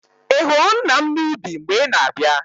Ị hụrụ nna m n'ubi mgbe ị na-abịa?